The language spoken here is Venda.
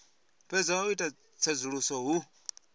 fhedza u ita tsedzuluso hu